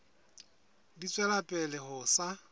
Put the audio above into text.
di tswela pele ho sa